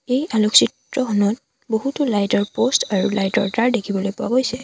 এই আলোকচিত্ৰখনত বহুতো লাইট ৰ পষ্ট আৰু লাইট ৰ তাঁৰ দেখিবলৈ পোৱা গৈছে।